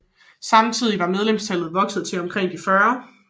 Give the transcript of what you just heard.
Samtidig var medlemstallet vokset til omkring de 50